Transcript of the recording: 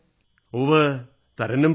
ഉവ്വ് തരന്നും പറയൂ